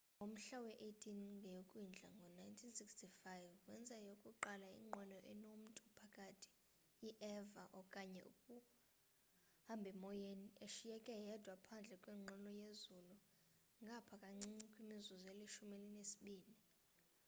ngomhla we-18 ngeyokwindla ngo-1965 wenza eyokuqala inqwelo enomtu phakathi i-eva okanye ukuhambhemoyeni eshiyeke yedwa phandle kwenqwelo yezulu ngapha kancinci kwimizuzu elishumi elinesibini